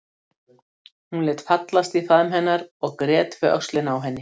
Hún lét fallast í faðm hennar og grét við öxlina á henni.